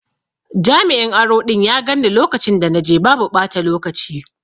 Jami'in aro ɗin ya ganni lokacin da na je babu ɓata lokaci.